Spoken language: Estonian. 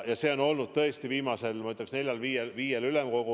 See on olnud tõesti jutuks viimasel, ma ütleks, neljal-viiel ülemkogul ...